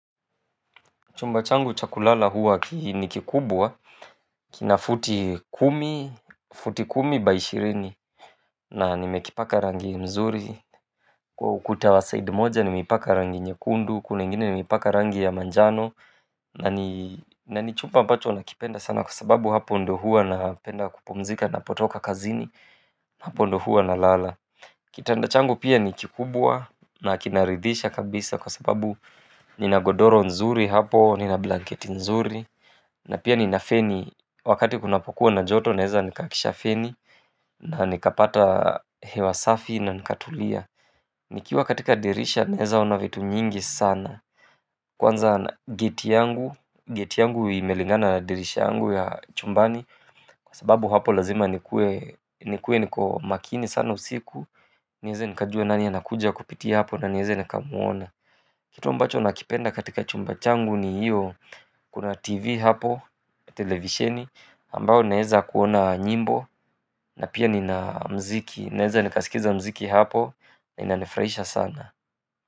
Chumba changu cha kulala huwa ni kikubwa kina futi kumi, futi kumi by ishirini na nimekipaka rangi mzuri kwa ukuta wa side moja nimeipaka rangi nyekundu, kule ingine nimeipaka rangi ya manjano yaani na ni chumba ambacho nakipenda sana kwa sababu hapo ndo huwa napenda kupumzika napotoka kazini hapo ndo huwa na lala kitanda changu pia ni kikubwa na kinaridhisha kabisa kwa sababu ninagodoro nzuri hapo, nina blanketi nzuri na pia nina feni wakati kunapokuwa na joto naweza nikaakisha feni na nikapata hewa safi na nikatulia nikiwa katika dirisha naweza ona vitu nyingi sana kwanza geti yangu, geti yangu imelingana dirisha yangu ya chumbani kwa sababu hapo lazima nikuwe nikuwe niko makini sana usiku niweze nikajua nani anakuja kupitia hapo na niweze nikamwona kitu ambacho nakipenda katika chumba changu ni hiyo kuna tv hapo, televisheni ambayo naweza kuona nyimbo na pia nina muziki naweza nikasikiza muziki hapo na inanifurahisha sana.